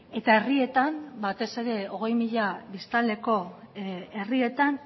eta herrietan batez ere hogei mila biztanleko herrietan